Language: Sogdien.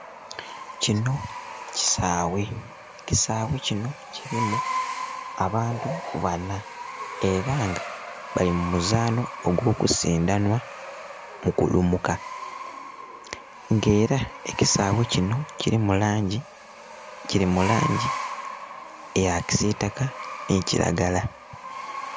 Kino kisaawe, ekisaawe kino kirimu abantu bana era nga bali mumuzano ogw'okusindanhwa mukulumuka nga era ekisaawe kino kirimu langi, kiri mu langi eya kisitaka ni kiragala.